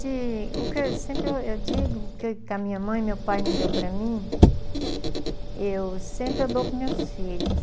Desde... O que eu sempre eu digo, o que que a minha mãe e meu pai não deu para mim, eu sempre eu dou para os meus filhos.